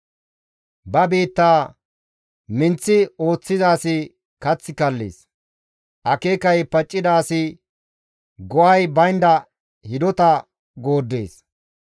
Ba biittaa minththi ooththiza asi kath kallees; akeekay paccida asi go7ay baynda hidota gooddees.